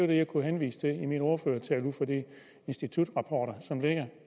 det jeg kunne henvise til i min ordførertale ud fra de institutrapporter som ligger